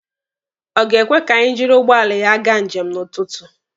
Ọ ga-ekwe ka anyị jiri ụgbọala ya gaa njem n'ụtụtụ?